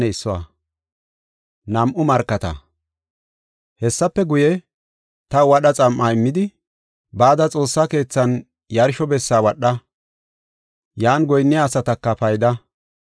Hessafe guye, taw wadha xam7a immidi, “Bada xoossa keethaanne yarsho bessa wadha; yan goyinniya asataka payda.